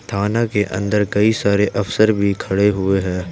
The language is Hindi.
थाना के अंदर कई सारे अफसर भी खड़े हुए है।